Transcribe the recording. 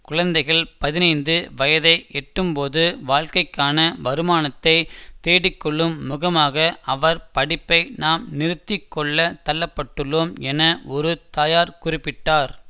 குழந்தைகள் பதினைந்து வயதை எட்டும் போது வாழ்க்கைக்கான வருமானத்தை தேடிக் கொள்ளும் முகமாக அவர் படிப்பதை நாம் நிறுத்தி கொள்ள தள்ளப்பட்டுள்ளோம் என ஒரு தயார் குறிப்பிட்டார்